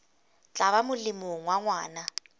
tla ba molemong wa ngwana